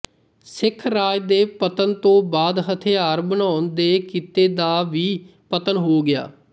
ਸਿੱਖ ਰਾਜ ਦੇ ਪਤਨ ਤੋਂ ਬਾਅਦ ਹਥਿਆਰ ਬਣਾਉਣ ਦੇ ਕਿਤੇ ਦਾ ਵੀ ਪਤਨ ਹੋ ਗਿਆ